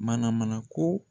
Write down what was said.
Mana mana ko